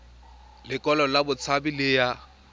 lekwalo la botshabi le ya